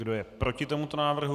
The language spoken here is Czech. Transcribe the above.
Kdo je proti tomuto návrhu?